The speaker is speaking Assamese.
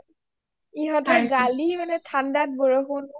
ইহতৰ গালি মানে ঠাণ্ডাত বৰষুণ